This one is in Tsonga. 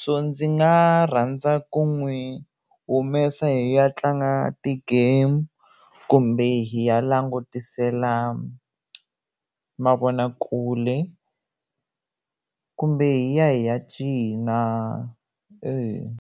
so ndzi nga rhandza ku n'wi humesa hi ya tlanga ti-game kumbe hi ya langutisela mavonakule kumbe hi ya hi ya cina.